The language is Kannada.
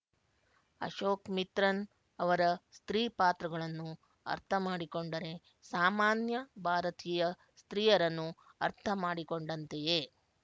ಅಶೋಕ್ ಮಿತ್ರನ್ ಅವರ ಸ್ತ್ರೀ ಪಾತ್ರಗಳನ್ನು ಅರ್ಥ ಮಾಡಿಕೊಂಡರೆ ಸಾಮಾನ್ಯ ಭಾರತೀಯ ಸ್ತ್ರೀಯರನ್ನು ಅರ್ಥ ಮಾಡಿಕೊಂಡಂತೆಯೇ